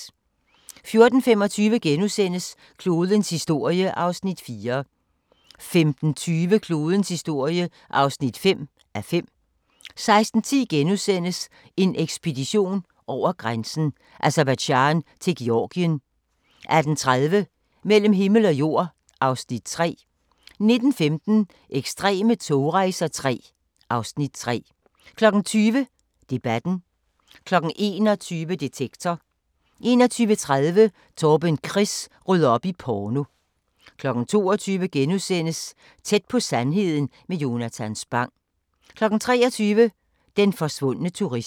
14:25: Klodens historie (4:5)* 15:20: Klodens historie (5:5) 16:10: En ekspedition over grænsen: Aserbajdsjan til Georgien * 18:30: Mellem himmel og jord (Afs. 3) 19:15: Ekstreme togrejser III (Afs. 3) 20:00: Debatten 21:00: Detektor 21:30: Torben Chris rydder op i porno 22:00: Tæt på sandheden med Jonatan Spang * 23:00: Den forsvundne turist